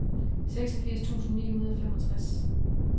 seksogfirs tusind ni hundrede og femogtres